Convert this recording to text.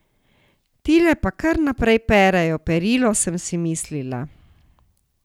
Tile pa kar naprej perejo perilo, sem si mislila.